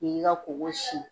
K'i k'i ka koko sin.